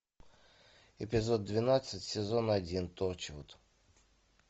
эпизод двенадцать сезон один торчвуд